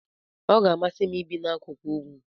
Ọ ga-amasị m ibi n'akụkụ ugwu.